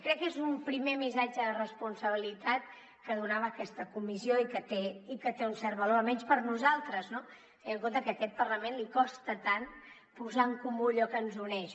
crec que és un primer missatge de responsabilitat que donava aquesta comissió i que té un cert valor almenys per nosaltres no tenint en compte que a aquest parlament li costa tant posar en comú allò que ens uneix